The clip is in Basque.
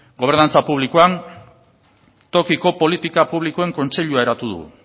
gobernantza publikoan tokiko politika publikoen kontseilua eratu dugu